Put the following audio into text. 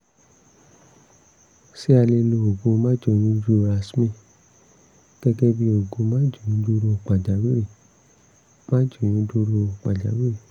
ṣé a lè lo oògùn máàjóyúndúró yasmin gẹ́gẹ́ bí oògùn máàjóyúndúró pàjáwìrì? máàjóyúndúró pàjáwìrì?